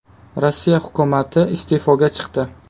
Rossiya hukumati iste’foga chiqdi.